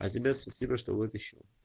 а тебе спасибо что вытащил